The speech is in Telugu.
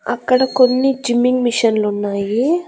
అక్కడ కొన్ని జిమ్మింగ్ మిషన్లు ఉన్నాయి.